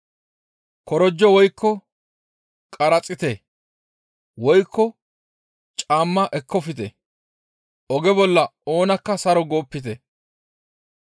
Korojo woykko qaraxiite woykko caamma ekkofte; oge bolla oonakka saro goopite.